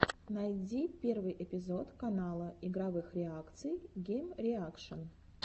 найди первый эпизод канала игровых реакций геймреакшн